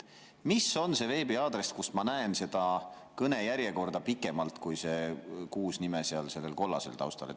Mis on see veebiaadress, kus ma näen seda kõnejärjekorda pikemalt kui need kuus nime seal kollasel taustal?